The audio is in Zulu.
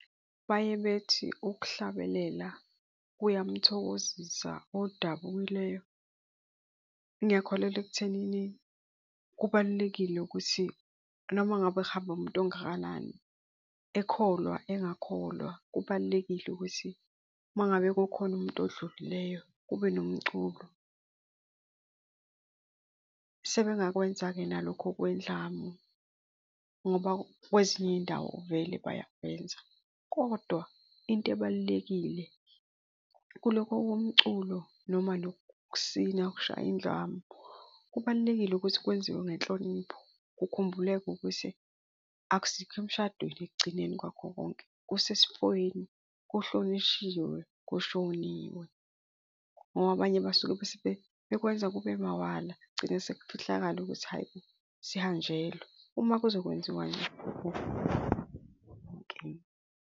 Baye bethi ukuhlabelela kuyamthokozisa odabukileyo. Ngiyakholelwa ekuthenini kubalulekile ukuthi noma ngabe kuhamba umuntu ongakanani, ekholwa engakholwa, kubalulekile ukuthi uma ngabe kukhona umuntu odlulileyo kube nomculo. Sebengakwenza-ke nalokho kwendlamu ngoba kwezinye iy'ndawo vele bayakwenza kodwa into ebalulekile kulokho komculo noma loku ukusina ukushaya indlamu, kubalulekile ukuthi kwenziwe ngenhlonipho, kukhumbuleke ukuthi akusikho emshadweni ekugcineni kwakho konke kusesifweni, kuhlonishiwe, kushoniwe. Ngoba abanye basuke bese bekwenza kube mawala kugcine sekukhohlakala ukuthi hhayi bo, sihanjelwe. Uma kuzokwenziwa .